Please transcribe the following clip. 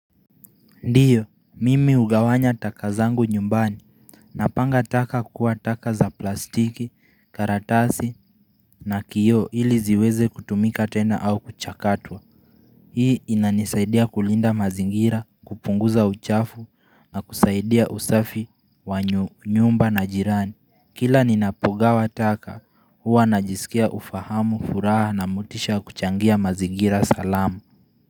Ndio, mimi hugawanya taka zangu nyumbani. Napanga taka kukua taka za plastiki, karatasi na kioo ili ziweze kutumika tena au kuchakatwa. Hii inanisaidia kulinda mazingira, kupunguza uchafu na kusaidia usafi wa nyumba na jirani. Kila ninapogawa taka huwa najisikia ufahamu furaha na motisha ya kuchangia mazingira salama.